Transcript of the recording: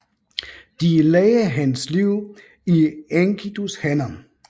De lagde hans liv i Enkidus hænder